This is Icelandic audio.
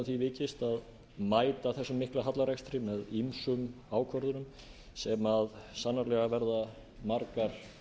því vikist að mæta þessum mikla hallarekstri með ýmsum ákvörðunum sem sannarlega verða margar